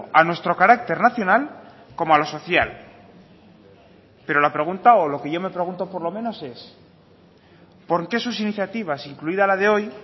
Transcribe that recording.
a nuestro carácter nacional como a lo social pero la pregunta o lo que yo me pregunto por lo menos es por qué sus iniciativas incluida la de hoy